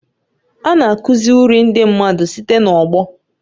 A na-akụzi uri ndị mmadụ site n'ọgbọ.